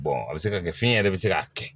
a bɛ se ka kɛ fiɲɛ yɛrɛ bɛ se k'a kɛ